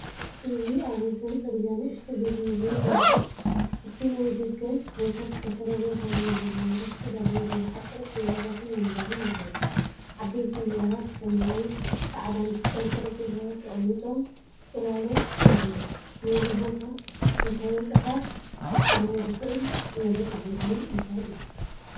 እዚ ኣብ ወሰን ጽርግያ ንእሽቶ ቤት ምግቢ የርኢ። እቲ ናይ ደገ ቦታ ብዝተፈላለየ ሕብሪ ዘለዎም ነገራት ዝተዳለዉ ብዙሓት ጠረጴዛታትን መንበርን ኣለዉዎ። ዓበይቲ ነገራ ብሰማያዊ፣ ጻዕዳን ብጫን ጠረጴዛታት ተቐሚጦምጽላሎት ይህቡ። ነዚ ቦታ እንተበጺሐ ክፍትኖ ዝኽእል ዝበለጸ መግቢ እንታይ እዩ?